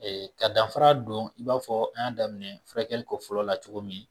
Ee ka danfa don i b'a fɔ an y'a daminɛ furakɛli kun fɔlɔ la cogo min.